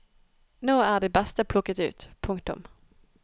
Nå er de beste plukket ut. punktum